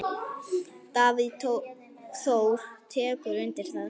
Davíð Þór tekur undir það.